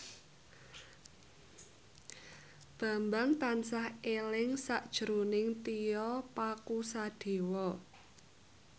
Bambang tansah eling sakjroning Tio Pakusadewo